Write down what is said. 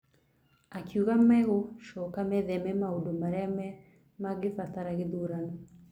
akiuga Magũcoka mĩtheme maũndũ marĩa mangĩbatara gĩthurano.